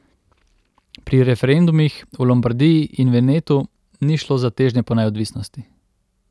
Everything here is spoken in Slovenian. Pri referendumih v Lombardiji in Venetu ni šlo za težnje po neodvisnosti.